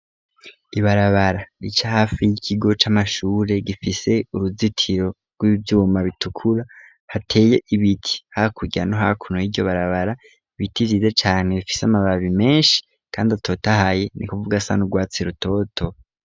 Ibarabara rica hafi y'ikigo c'amashure, gifise uruzitiro rw'ivyuma bitukura, hateye ibiti hakurya no hakuno y'iryo barabara, ibiti vyiza cane bifise amababi menshi kandi atotahaye, n'ukuvuga asa n'urwatsi rutoto.